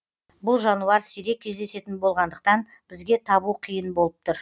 бұл жануар сирек кездесетін болғандықтан бізге табу қиын болып тұр